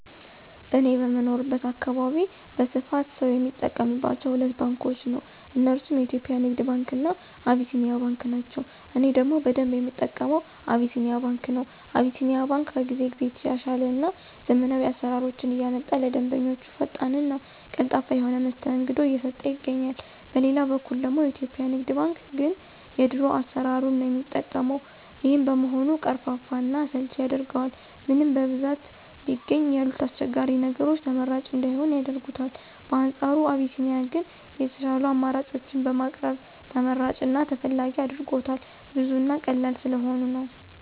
እኔ በምኖርበት አካባቢ በስፋት ሰው የሚጠቀማቸው ሁለት ባንኮችን ነው። እነርሱም የኢትዮጵያ ንግድ ባንክ እና አቢሲኒያ ባንክ ናቸው። እኔ ደግሞ በደንብ የምጠቀመው አቢሲኒያ ባንክ ነው። አቢሲኒያ ባንክ ከጊዜ ጊዜ እየተሻሻለ እና ዘመናዊ አሰራሮችን እያመጣ ለደንበኞቹ ፈጣን እና ቀልጣፋ የሆነ መስተንግዶ እየሰጠ ይገኛል። በሌላ በኩል ደግሞ የኢትዮጵያ ንግድ ባንክ ግን የድሮ አሰራሩን ነው የሚጠቀው። ይሄም በመሆኑ ቀርፋፋ እና አሰልቺ ያደርገዋል። ምንም በብዛት ቢገኝ ያሉት አስቸጋሪ ነገሮች ተመራጭ እንዳይሆን ያደርጉታል። በአንፃሩ አቢሲኒያ ግን የሻሉ አማራጮችን በማቅረብ ተመራጭ እና ተፈላጊ አድርጎታል። ብዙ እና ቀላል ስለሆኑ ነው።